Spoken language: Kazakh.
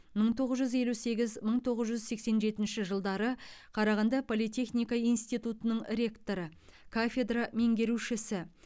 мың тоғыз жүз елу сегіз мың тоғыз жүз сексен жетінші жылдары қарағанды политехника институтының ректоры кафедра меңгерушісі